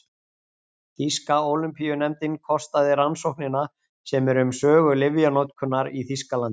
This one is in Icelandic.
Þýska Ólympíunefndin kostaði rannsóknina sem er um sögu lyfjanotkunar í Þýskalandi.